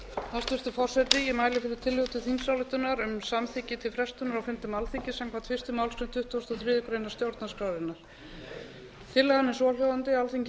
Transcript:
hæstvirtur forseti ég mæli fyrir tillögu til þingsályktunar um samþykki til frestunar á fundum alþingis samkvæmt fyrstu málsgrein tuttugustu og þriðju grein stjórnarskrárinnar tillagan er svohljóðandi alþingi